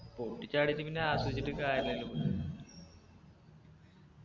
പൊട്ടിച്ചാടീറ്റ് പിന്ന ആസ്വദിച്ചിട്ട് കാര്യല്ലല്ലോ